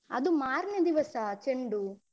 ಅದು ಮಾರ್ನೆ ದಿವಸ ಚೆಂಡು.